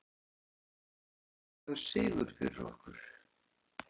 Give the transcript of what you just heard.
Þetta var mikilvægur sigur fyrir okkur